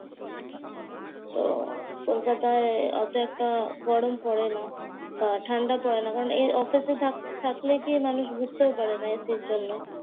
তো কলকাতায় অত একটা গরম পড়ে না বা ঠান্ডা পড়ে না। কারণ এই অফিসে থাক থাকলে কি মানুষ বুঝতেও পারে না এসির জন্য।